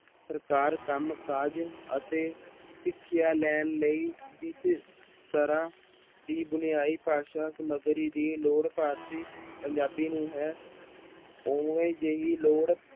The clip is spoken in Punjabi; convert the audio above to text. ਸਰਕਾਰ ਕੰਮਕਾਜ ਅਤੇ ਸਿੱਖਿਆ ਲੈਣ ਲਈ ਜਿਸ ਤਰ੍ਹਾਂ ਦੀ ਬੁਨਿਆਈ ਭਾਸ਼ਾ ਸਮੱਗਰੀ ਦੀ ਲੋੜ ਭਾਰਤੀ ਪੰਜਾਬੀ ਨੂੰ ਹੈ ਉਹ ਜਿਹੀ ਲੋੜ